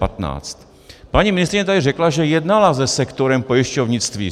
Paní ministryně tady řekla, že jednala se sektorem pojišťovnictví.